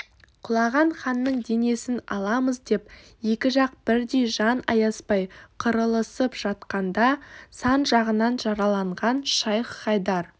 құлаған ханның денесін аламыз деп екі жақ бірдей жан аяспай қырылысып жатқанда сан жағынан жараланған шайх-хайдар